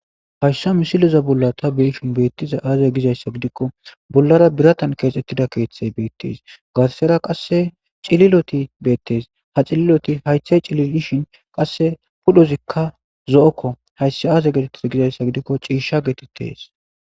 Hayisa misileza bollan ta be'ishin tas betizays aze gidaysa gidiko bollara biratan kexetida kethay betes garisara qase cililoti betes cililoti hayithay cililotishin qasika ulozi zo'oko hayis aze gidaysa gidiko cisha getetes